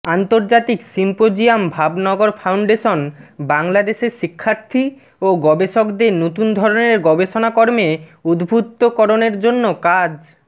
আন্তর্জাতিক symposium Bhavnagar foundation বাংলাদেশের শিক্ষার্থী ও গবেষকদের নতুন ধরনের গবেষণাকর্মে উদ্বুদ্ধ করণের জন্য কাজ